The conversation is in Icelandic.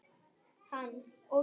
Þagði um stund.